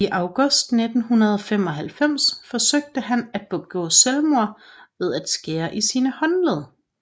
I august 1995 forsøgte han at begå selvmord ved at skære i sine håndled